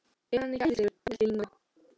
Er hann ekki æðislegur? vældi Nína.